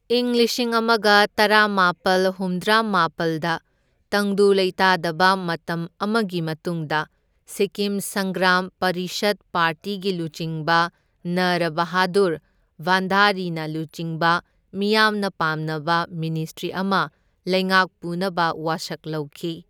ꯏꯪ ꯂꯤꯁꯤꯡ ꯑꯃꯒ ꯇꯔꯥꯃꯥꯄꯜ ꯍꯨꯝꯗ꯭ꯔꯥꯃꯥꯄꯜꯗ ꯇꯪꯗꯨ ꯂꯩꯇꯥꯗꯕ ꯃꯇꯝ ꯑꯃꯒꯤ ꯃꯇꯨꯡꯗ ꯁꯤꯛꯀꯤꯝ ꯁꯪꯒ꯭ꯔꯥꯝ ꯄꯔꯤꯁꯗ ꯄꯥꯔꯇꯤꯒꯤ ꯂꯨꯆꯤꯡꯕ ꯅꯔ ꯕꯍꯥꯗꯨꯔ ꯚꯥꯟꯗꯥꯔꯤꯅ ꯂꯨꯆꯤꯡꯕ ꯃꯤꯌꯥꯝꯅ ꯄꯥꯝꯅꯕ ꯃꯤꯅꯤꯁꯇ꯭ꯔꯤ ꯑꯃ ꯂꯩꯉꯥꯛ ꯄꯨꯅꯕ ꯋꯥꯁꯛ ꯂꯧꯈꯤ꯫